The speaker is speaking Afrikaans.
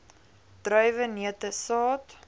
druiwe neute saad